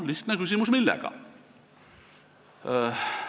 Lihtne küsimus: millega?